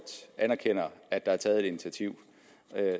anerkender at der er taget et initiativ